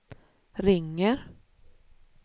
ringer